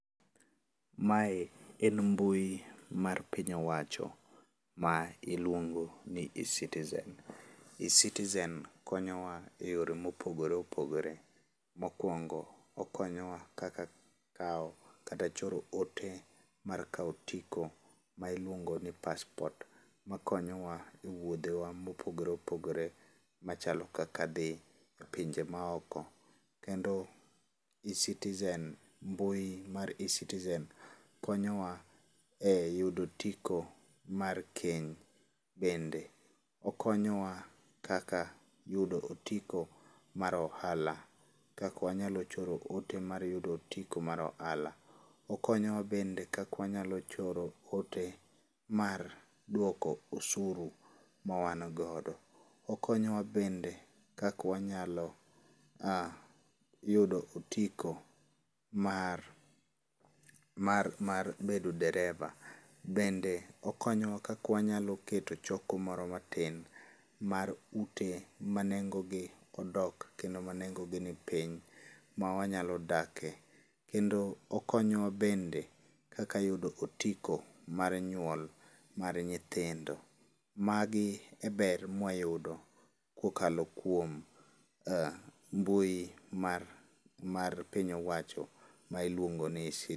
Mae en mbui mar piny owacho ma iluongo ni eCitizen. eCitizen konyowa e yore mopogore opogore, mokuongo, okonyowa kaka kawo kata choro ote mar kawo otiko ma iluongo ni paspot makonyowa e wuodhewa mopogore opogore machalo kaka dhi epinje maoko. Kendo eCitizen, mbui mar eCitizen konyowa eyudo otiko mar keny. Bende okonyowa eyudo otiko mar ohala, kaka wanyalo choro ote mar yudo otiko mar ohala. Okonyowa bende kaka wanyalo choro ote mar yudo otiko mar duoko osuru mawan godo. Okonyowa bende kaka wanyalo aa yudo mar mar mar bedo dereba. Bende okonyowa kaka wanyalo keto choko moro matin mar ute manengogi odok kendo manengogi nipiny mawanyalo dake. Kendo okonyowa bende kaka yudo otiko mar nyuol mar nyithindo. Magi e ber mawayudo kokalo kuom mbui mar mar pin owacho miluongo ni eCi